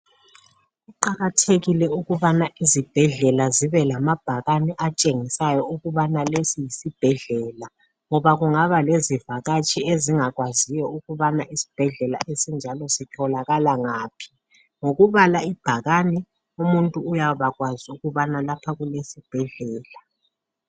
Kuqakathekile ukubana izibhedlela zibe lamabhakane atshengisayo ukubana lesi yisibhedlela ngoba kungaba lezivakatshi ezingakwaziyo ukubana isibhedlela esinjalo sitholakala ngaphi ngokubala ibhakane umuntu uyaba kwazi ukubana lapha kulesibhedlela.